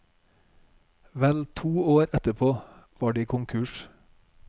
Vel to år etterpå var de konkurs.